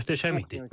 Möhtəşəm idi.